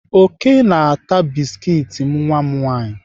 Oke na-ata biskit nwa m nwaanyị.